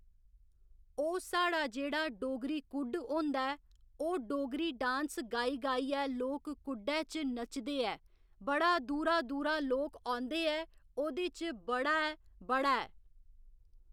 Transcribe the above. ओह् साढ़ा जेह्ड़ा डोगरी कुड्ड होंदा ऐ ओह् डोगरी डांस गाई गाइयै लोक कुड्डै च नचदे ऐ बड़ा दूरा दूरा लोक औंदे ऐ ओह्‌दे च बड़ा ऐ बड़ा ऐ